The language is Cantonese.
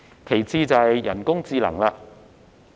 其次是人工智能。